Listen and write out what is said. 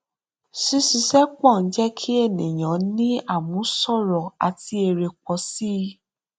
ṣíṣiṣẹ pọ ń jé kí ènìyàn ní àmúṣọrò àti èrè pọ sí i